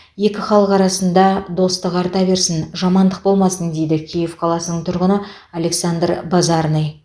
екі халық арасында достық арта берсін жамандық болмасын дейді киев қаласының тұрғыны александр базарный